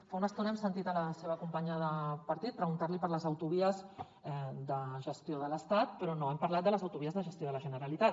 fa una estona hem sentit la seva companya de partit preguntar li per les autovies de gestió de l’estat però no hem parlat de les autovies la gestió de la generalitat